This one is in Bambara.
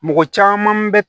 Mɔgɔ caman bɛ